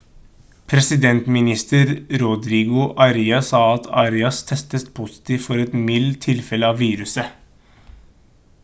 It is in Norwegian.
presidentminister rodrigo aria sa at arias testet positivt for et mildt tilfelle av viruset